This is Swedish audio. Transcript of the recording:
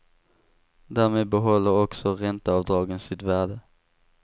Därmed behåller också ränteavdragen sitt värde.